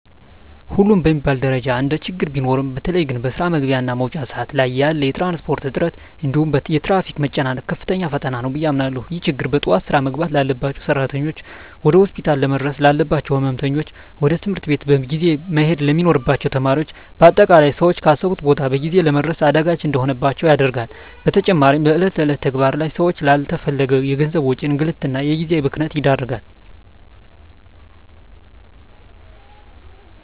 ሁሉም በሚባል ደረጃ እንደችግር ቢኖሩም በተለየ ግን በስራ መግቢያ እና መውጫ ሰአት ላይ ያለ የትራንስፖርት እጥረት እንዲሁም የትራፊክ መጨናነቅ ከፍተኛ ፈተና ነው ብየ አምናለሁ። ይህ ችግር በጠዋት ስራ መግባት ላባቸው ሰራተኞች፣ ወደ ሆስፒታል ለመድረስ ላለባቸው ህመምተኞች፣ ወደ ትምህርት ቤት በጊዜ መሄድ ለሚኖርባቸው ተማሪዎች በአጠቃላይ ሰወች ካሰቡት ቦታ በጊዜ ለመድረስ አዳጋች እንዲሆንባቸው ያደርጋል። በተጨማሪም በእለት እለት ተግባር ላይ ሰወችን ላለተፈለገ የገንዘብ ወጪ፣ እንግልት እና የጊዜ ብክነት ይዳርጋል።